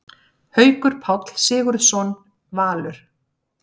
Haukur Páll Sigurðsson, Valur